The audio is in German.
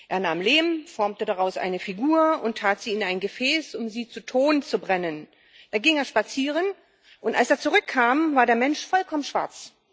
Er nahm Lehm, formte daraus eine Figur und tat sie in ein Gefäß, um sie zu Ton zu brennen. Dann ging er spazieren, und als er zurückkam, war der Mensch vollkommen schwarz.